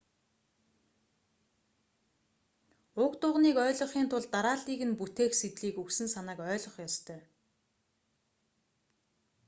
уг дуганыг ойлгохын тулд дарааллыг нь бүтээх сэдлийг өгсөн санааг ойлгох ёстой